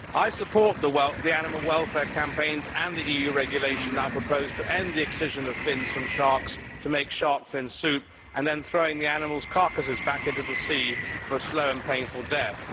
I support the animal welfare campaigns and the EU regulation now proposed to end the excision of fins from sharks to make shark fin soup and then throwing the animals' carcasses back into the sea for a slow and painful death.